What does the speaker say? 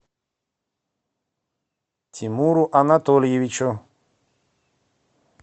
тимуру анатольевичу